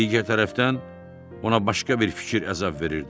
Digər tərəfdən ona başqa bir fikir əzab verirdi.